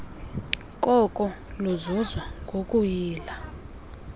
koko luzuzwa ngokuyila